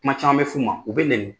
Kuma caman bɛ f'u ma u bɛ nɛni.